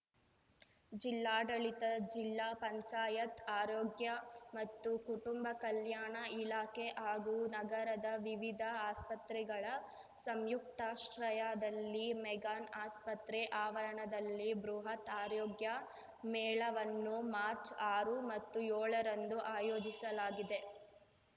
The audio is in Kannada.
ಜಿಲ್ಲಾಡಳಿತ ಜಿಲ್ಲಾ ಪಂಚಾಯತ್‌ ಆರೋಗ್ಯ ಮತ್ತು ಕುಟುಂಬ ಕಲ್ಯಾಣ ಇಲಾಖೆ ಹಾಗೂ ನಗರದ ವಿವಿಧ ಆಸ್ಪತ್ರೆಗಳ ಸಂಯುಕ್ತಾಶ್ರಯದಲ್ಲಿ ಮೆಗ್ಗಾನ್‌ ಆಸ್ಪತ್ರೆ ಆವರಣದಲ್ಲಿ ಬೃಹತ್‌ ಆರೋಗ್ಯ ಮೇಳವನ್ನು ಮಾರ್ಚ್ ಆರು ಮತ್ತು ಯೋಳರಂದು ಆಯೋಜಿಸಲಾಗಿದೆ